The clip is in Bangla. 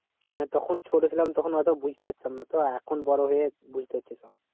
মানে তখন ছোট ছিলাম তখন অতো বুঝতে পারতাম না তো আর এখন বড় হয়ে বুঝতে পারছি সব